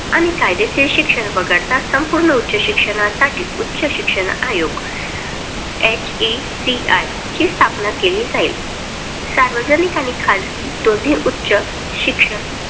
आणि कायदयातील शिक्षण वगळता संपूर्ण उच्च शिक्षणासाठी उच्च शिक्षण आयोग HECI ची स्थापना केली जाईल. सार्वजनिक आणि खाजगी दोन्ही उच्च शिक्षण